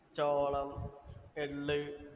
ചോളം, എള്ള്